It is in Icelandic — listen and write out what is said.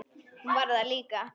Hún var það líka.